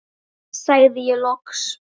sagði ég loks.